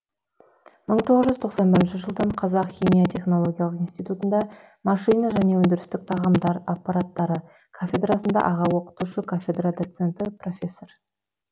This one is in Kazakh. мың тоғыз жүз тоқсан бірінші жылдан қазақ химия технологиялық институтында машина және өндірістік тағамдар аппараттары кафедрасында аға оқытушы кафедра доценті профессор